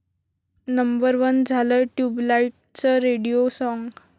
number one झालंय 'ट्युबलाईट'चं radio song